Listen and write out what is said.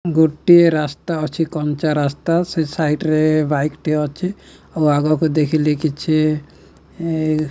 ଗୋଟିଏ ରାସ୍ତା ଅଛି କଞ୍ଚା ରାସ୍ତା। ସେ ସାଇଟ୍ ସାଇଡ଼୍ ରେ ବାଇକ ଟିଏ ଅଛି। ଆଉ ଆଗକୁ ଦେଖିଲି କିଛି ଏ --